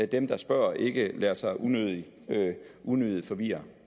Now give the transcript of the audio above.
dem der spørger ikke lader sig unødigt unødigt forvirre